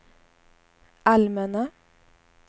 allmänna